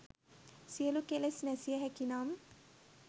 සියලු කෙලෙස් නැසිය හැකිනම්